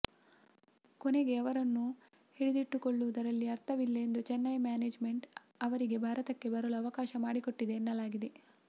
ಕೊನೆಗೆ ಅವರನ್ನು ಹಿಡಿದಿಟ್ಟುಕೊಳ್ಳುವುದರಲ್ಲಿ ಅರ್ಥವಿಲ್ಲ ಎಂದು ಚೆನ್ನೈ ಮ್ಯಾನೇಜ್ ಮೆಂಟ್ ಅವರಿಗೆ ಭಾರತಕ್ಕೆ ಬರಲು ಅವಕಾಶ ಮಾಡಿಕೊಟ್ಟಿದೆ ಎನ್ನಲಾಗಿದೆ